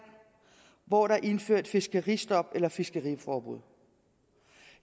hvor der er indført fiskeristop eller fiskeriforbud